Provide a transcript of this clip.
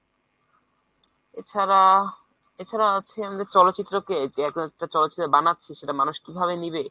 এছাড়া, এছাড়া আছে আমাদের চলচিত্রকে বানাচ্ছে সেটা মানুষ কীভাবে নিবে?